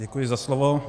Děkuji za slovo.